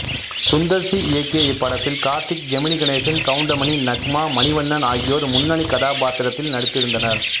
சுந்தர் சி இயக்கிய இப்படத்தில் கார்த்திக் ஜெமினி கணேசன் கவுண்டமணி நக்மா மணிவண்ணன் ஆகியோர் முன்னணி கதாபாத்திரத்தில் நடித்திருந்தனர்